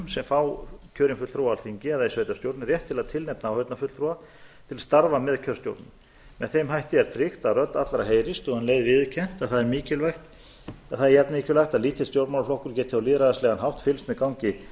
sem fá kjörinn fulltrúa á alþingi eða í sveitarstjórn rétt til að tilnefna áheyrnarfulltrúa til starfa með kjörstjórnum með þeim hætti er tryggt að rödd allra heyrist og um leið viðurkennt að það er jafnmikilvægt að lítill stjórnmálaflokkur geti á lýðræðislegan hátt fylgst með gangi